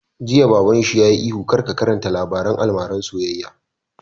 Jiya Baban shi yayi ihu 'kar ka karanta labaren almaran soyayya'